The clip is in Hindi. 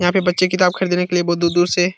यहाँ पे बच्चे किताब खरीदने के लिए बहुत दूर-दूर से --